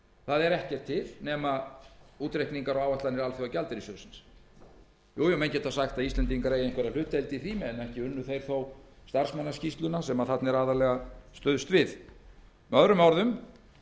það er ekkert til nema útreikningar og áætlanir alþjóðagjaldeyrissjóðsins jú menn geta sagt að íslendingar eigi einhverja hlutdeild í því en ekki unnu þeir þó starfsmannaskýrsluna sem þarna er aðallega stuðst við með öðrum orðum